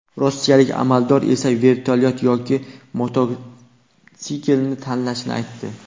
Rossiyalik amaldor esa vertolyot yoki mototsiklni tanlashini aytdi.